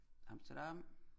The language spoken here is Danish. Amsterdam